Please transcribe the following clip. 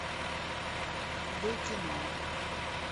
д кино